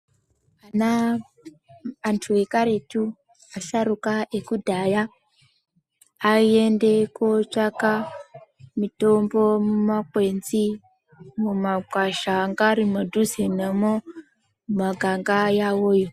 Ana antu ekaretu asharuka ekudhaya aende kootsvaka mitombo mumakwenzi mumakwasha anga arimudhuze namwo mumaganga yawoyo.